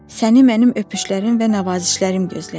Səni mənim öpüşlərim və nəvazişlərim gözləyir.